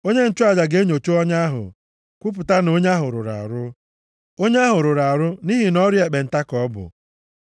Onye nchụaja ga-enyocha ọnya ahụ. Kwupụta na onye ahụ rụrụ arụ. Ọnya ahụ rụrụ arụ nʼihi na ọrịa ekpenta ka ọ bụ.